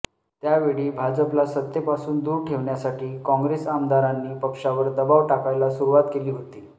त्यावेळी भाजपला सत्तेपासून दूर ठेवण्यासाठी काँग्रेस आमदारांनी पक्षावर दबाव टाकायला सुरुवात केली होती